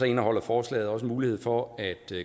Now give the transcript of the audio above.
indeholder forslaget også mulighed for at